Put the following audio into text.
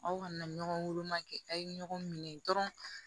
Aw kana ɲɔgɔn woloma kɛ aw ye ɲɔgɔn minɛ dɔrɔn